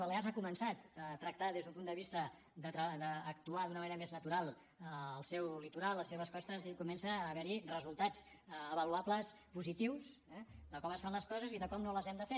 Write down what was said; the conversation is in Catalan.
balears ha començat a tractar des d’un punt de vista d’actuar d’una manera més natural el seu litoral les seves costes i comença a haver hi resultats avaluables positius eh de com es fan les coses i de com no les hem de fer